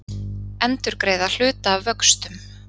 Endurgreiða hluta af vöxtum